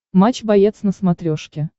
матч боец на смотрешке